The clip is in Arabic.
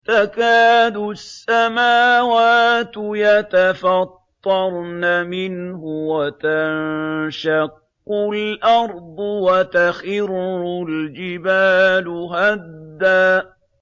تَكَادُ السَّمَاوَاتُ يَتَفَطَّرْنَ مِنْهُ وَتَنشَقُّ الْأَرْضُ وَتَخِرُّ الْجِبَالُ هَدًّا